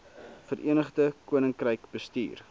verenigde koninkryk bestuur